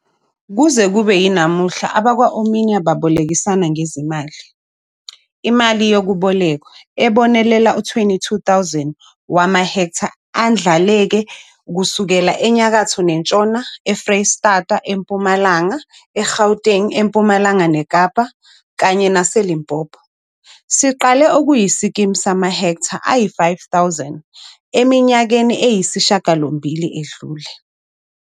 Kuze kube yinamuhla abakwa-Omnia babolekisana ngezimali, imali yokubolekwa, ezibonelela u-22 000 wamahektha andlaleke kusukela eNyakatho neNtshona, eFreystata, eMpumalanga, eGauteng, eMpumalanga neKapa kanye naseLimpopo, siqale kuyiskimu samahektha ayi-5 000 eminyakeni eyisishiyagalombili edlule.